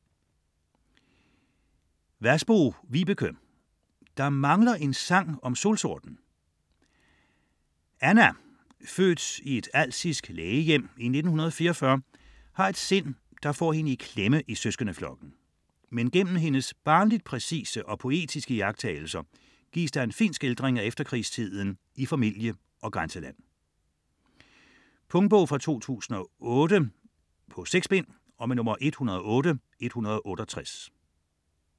Vasbo, Vibeke: Der mangler en sang om solsorten Anna, født i et alsisk lægehjem i 1944, har et sind, der får hende i klemme i søskendeflokken. Men gennem hendes barnligt præcise og poetiske iagttagelser gives der en fin skildring af efterkrigstiden i familie og grænseland. Punktbog 108168 2008. 6 bind.